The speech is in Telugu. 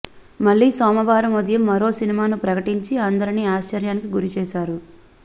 మళ్లీ సోమవారం ఉదయం మరో సినిమాను ప్రకటించి అందరినీ ఆశ్చర్యానికి గురిచేశారు